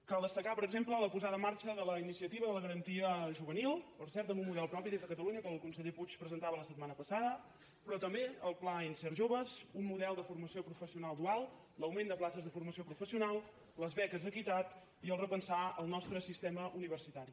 cal destacar per exemple la posada en marxa de la iniciativa de la garantia juvenil per cert amb un model propi des de catalunya que el conseller puig presentava la setmana passada però també el pla insert jove un model de formació professional dual l’augment de places de formació professional les beques equitat i repensar el nostre sistema universitari